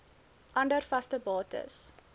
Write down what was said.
ander vaste bates